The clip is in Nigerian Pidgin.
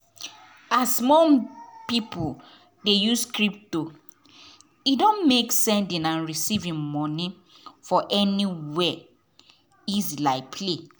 as more people dey use crypto e don make sending and receiving money for anywhere easy like play.